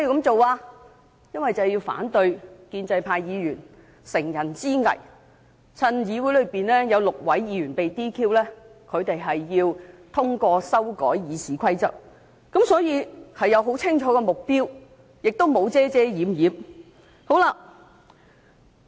只因為要反對建制派議員乘人之危，藉議會內有6位議員被撤銷資格的機會而通過修改《議事規則》，所以此舉有很清楚的目標，沒有遮遮掩掩。